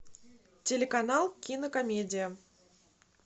телеканал кинокомедия